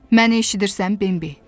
Məni eşidirsən, Bembi?